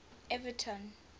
everton